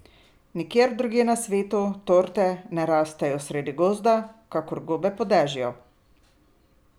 Nikjer drugje na svetu torte ne rastejo sredi gozda kakor gobe po dežju!